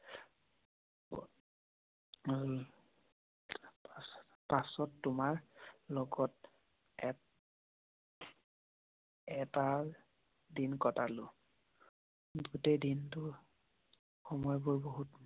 পাছত তোমাৰ লগত এটা দিন কটালো। গোটেই দিনটোৰ সময় বোৰ বহুত